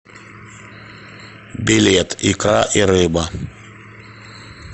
билет икра и рыба